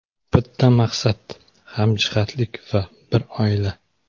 Bitta maqsad, hamjihatlik va bir oila.